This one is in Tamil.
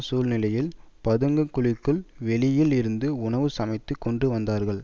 சூழ்நிலையில் பதுங்கு குழிக்கு வெளியில் இருந்து உணவு சமைத்துக் கொண்டு வந்தார்கள்